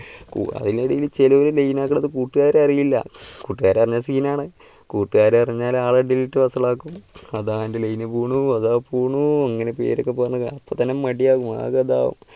അതിന് ഇടയല് ചിലര് line ആക്കുന്നത് കൂട്ടുകാർ അറിയില്ല കൂട്ടുകാര് അറിഞ്ഞാൽ scene ആണ്. കൂട്ടുകാർ അറിഞ്ഞാൽ ആളെയിടയിൽ ഇട്ട് വഷളാക്കും അതാ നിൻ്റെ line പോണു അതാ പോണു അങ്ങനെ പേരൊക്കെ പറഞ്ഞു തന്നെ മടിയാകും ആകെ അതാകും,